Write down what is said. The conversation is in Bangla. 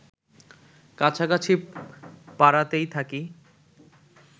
কাছাকাছি পাড়াতেই থাকি